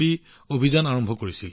লগতে এটা প্ৰচাৰ অভিযান আৰম্ভ কৰিছিল